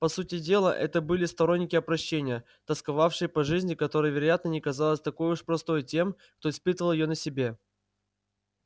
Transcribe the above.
по сути дела это были сторонники опрощения тосковавшие по жизни которая вероятно не казалась такой уж простой тем кто испытал её на себе